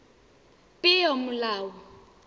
peomolao